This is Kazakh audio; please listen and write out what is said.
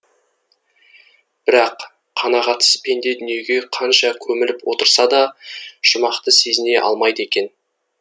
бірақ қанағатсыз пенде дүниеге қанша көміліп отырса да жұмақты сезіне алмайды екен